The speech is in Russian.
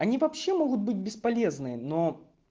они вообще могут быть бесполезные но